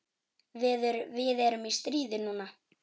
Við erum í stríði núna.